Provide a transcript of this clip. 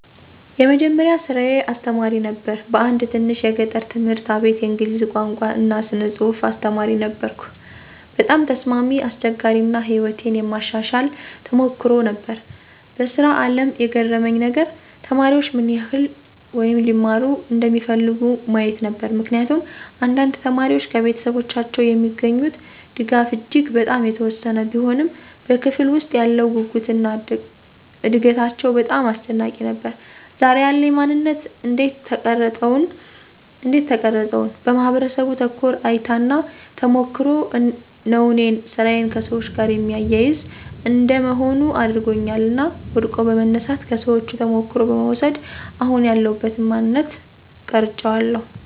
የመጀመሪያ ስራየ አስተማሪ ነበር በአንድ ትንሽ የገጠር ትምህርት አቤት የእንግሊዝ ቋንቋ እና ስነ ፅሐፍ አስተማሪ ነበርኩ። በጣም ተስማሚ፣ አስቸጋሪ አና ሕይወቴን የማሻሻል ተሞክሮ ነበር። በስራ አለም የገረመኝ ነገር?፦ተማሪዎች ምን ይህል (ሊማሩ) እንደሚፈልጉ ማየት ነበር። ምክንያቱም አንዳንድ ተማሪዎች ከቤተሰቦቻቸው የሚገኙት ድጋፍ እጂግ በጣም የተወሰነ ቢሆንም በክፍለ ውስጥ ያለው ጉጉትና እደጋታቸው በጣም አስደናቂ ነበር። ዛሬ ያለኝ ማነንት እንዴት ተቀረፀውን? በማህበረሰቡ ተኮር እይታና ተሞክሮ ነው እኔን ስራዬ ከሰዎች ጋር የሚያያዝ እንደ መሆን አድርጓኛል እና ወድቆ በመነሳት፣ ከሰዎቹ ተሞክሮ በመውስድ አሁን ያለውበትን ማንነት ቀራጨዋለሁ።